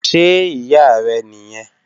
Ṣe iya rẹ niyẹn?